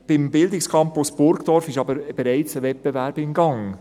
Beim Bildungscampus Burgdorf ist aber bereits ein Wettbewerb im Gang.